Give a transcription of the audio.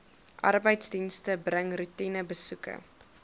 arbeidsdienste bring roetinebesoeke